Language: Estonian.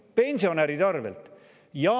Pensionäride arvelt!